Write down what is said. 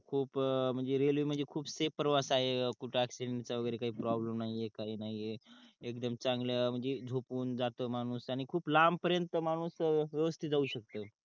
खूप म्हणजे रेलवे म्हणजे खूप सेफ प्रवास आहे कुठ अक्शिडेंट चा वगेरे काही प्रोब्लेम नाही आहे काही नाही आहे एकदम चांगल्या म्हणजे झोपून जातो त्यान माणूस त्यान खूप लांब पर्यंत माणूस सहज ते जावू शकतो